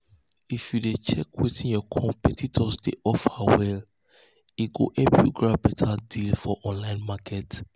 if you dey check wetin your competitors dey offer well-well e go help you grab beta deal for online market.